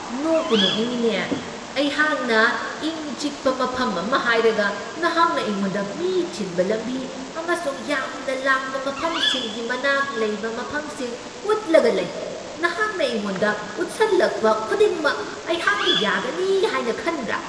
ꯅꯣꯛꯄꯨ ꯅꯣꯛꯅꯤꯡꯉꯤꯅꯦ꯫ ꯑꯩꯍꯥꯛꯅ ꯏꯪ ꯆꯤꯛꯄ ꯃꯐꯝ ꯑꯃ ꯍꯥꯏꯔꯒ ꯅꯍꯥꯛꯅ ꯑꯩꯉꯣꯟꯗ ꯃꯤ ꯆꯤꯟꯕ ꯂꯝꯕꯤ ꯑꯃꯁꯨꯡ ꯌꯥꯝꯅ ꯂꯥꯡꯕ ꯃꯐꯝꯁꯤꯡꯒꯤ ꯃꯅꯥꯛ ꯂꯩꯕ ꯃꯐꯝꯁꯤꯡ ꯎꯠꯂꯒ ꯂꯩ꯫ ꯅꯍꯥꯛꯅ ꯑꯩꯉꯣꯟꯗ ꯎꯠꯁꯜꯂꯛꯄ ꯈꯨꯗꯤꯡꯃꯛ ꯑꯩꯍꯥꯛꯅ ꯌꯥꯒꯅꯤ ꯍꯥꯏꯅ ꯈꯟꯕ꯭ꯔꯥ?